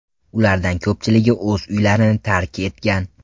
Ulardan ko‘pchiligi o‘z uylarini tark etgan.